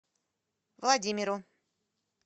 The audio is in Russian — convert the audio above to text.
владимиру